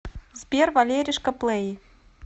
сбер валеришка плэй